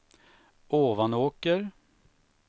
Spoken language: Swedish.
Ovanåker